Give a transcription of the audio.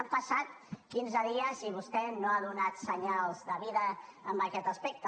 han passat quinze dies i vostè no ha donat senyals de vida en aquest aspecte